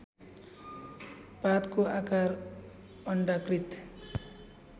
पातको आकार अण्डाकृत